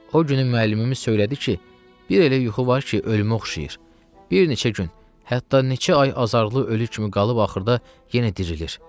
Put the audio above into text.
O günü müəllimimiz söylədi ki, bir elə yuxu var ki, ölümə oxşayır, bir neçə gün, hətta neçə ay azarlı ölü kimi qalıb axırda yenə dirilir.